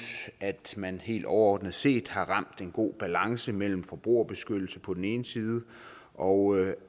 at man helt overordnet set har ramt en god balance mellem forbrugerbeskyttelse på den ene side og